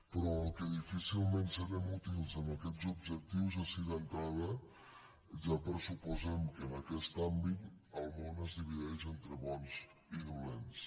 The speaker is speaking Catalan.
però amb el que difícilment serem útils a aquests objectius és si d’entrada ja pressuposem que en aquest àmbit el món es divideix entre bons i dolents